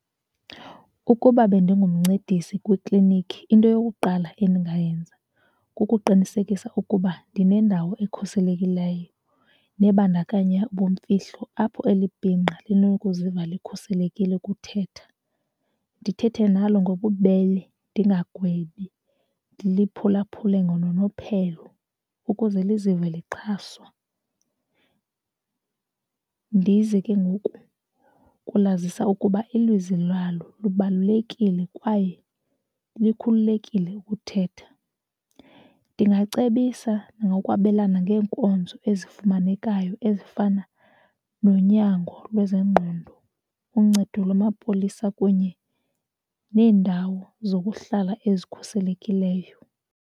Ukuba bendingumncedisi kwiiklinikhi into yokuqala endingayenza kukuqinisekisa ukuba ndinendawo ekhuselekileyo nebandakanya ubumfihlo apho eli bhinqa linokuziva likhuselekile ukuthetha. Ndithethe nalo ngobubele ndingagwebi. Ndiliphulaphule ngononophelo ukuze lizive lixhaswa. Ndize ke ngoku ukulazisa ukuba ilizwi lalo lubalulekile kwaye likhululekile ukuthetha. Ndingacebisa nokwabelana ngeenkonzo ezifumanekayo ezifana nonyango lwezengqondo, uncedo lamapolisa kunye neendawo zokuhlala ezikhuselekileyo.